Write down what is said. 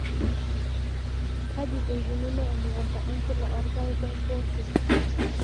Kaji eikununo emukunta enchula orpaeki we mpooshoi.